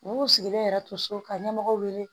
U b'u sigilen yɛrɛ to so ka ɲɛmɔgɔw wele